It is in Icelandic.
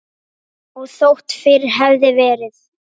Og þótt fyrr hefði verið.